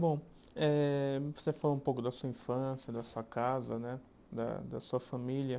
Bom eh, você já falou um pouco da sua infância, da sua casa né, da da sua família.